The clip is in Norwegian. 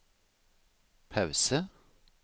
pause